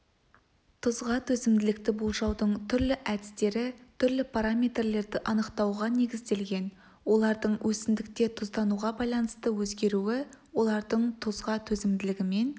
тұзға төзімділікті болжаудың түрлі әдістері түрлі параметрлерді анықтауға негізделген олардың өсімдікте тұздануға байланысты өзгеруі олардың тұзға төзімділігімен